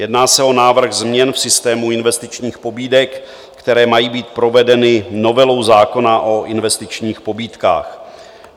Jedná se o návrh změn v systému investičních pobídek, které mají být provedeny novelou zákona o investičních pobídkách.